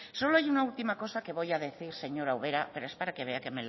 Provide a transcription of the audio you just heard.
solo hay una última cosa que voy a decir señor ubera pero para que vea que